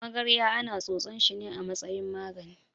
Magarya ana tsotsan shine a matsayin magani.